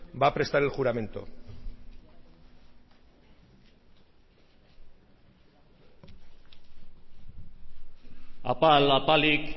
va a prestar el juramento apal apalik